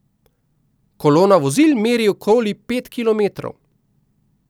Kolona vozil meri okoli pet kilometrov.